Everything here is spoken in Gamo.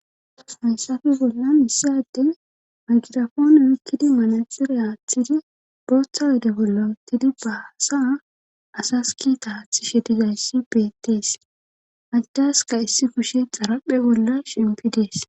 o hayssafe bollan missyadey magirafoone yoykkidi manaxire aaththidi booththa wode bolla uttidi baasa asas kita haathishe dizayssi beettees majdaska issi kushe xarapphe bolla shimpidees